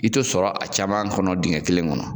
I tɛ sɔrɔ a caman kɔnɔ dingɛ kelen kɔnɔ